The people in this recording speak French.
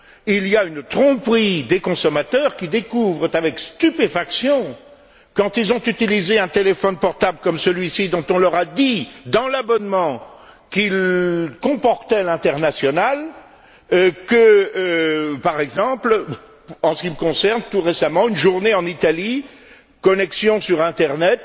Il y a une tromperie des consommateurs qui découvrent leur facture avec stupéfaction, quand ils ont utilisé un téléphone portable comme celui ci, dont on leur a dit, dans l'abonnement, qu'il comportait l'international comme, par exemple, en ce qui me concerne, tout récemment, pour une journée en Italie avec connexion sur internet